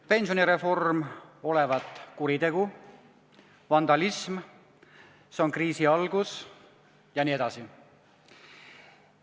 Pensionireform olevat kuritegu, vandalism, see on kriisi algus jne.